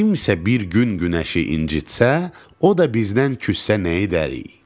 Kimsə bir gün günəşi incitsə, o da bizdən küssə nə edərik?